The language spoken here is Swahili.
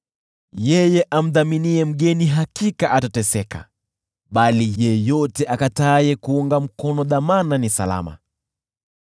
Yeye amdhaminiye mgeni hakika atateseka, bali yeyote akataaye kuunga mkono dhamana ni salama.